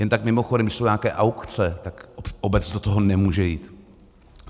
Jen tak mimochodem, když jsou nějaké aukce, tak obec do toho nemůže jít.